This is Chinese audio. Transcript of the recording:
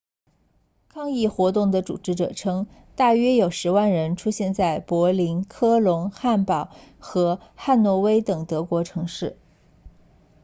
抗议活动的组织者称大约有10万人出现在柏林科隆汉堡和汉诺威等德国城市